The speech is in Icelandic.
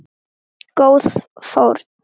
Góð fórn.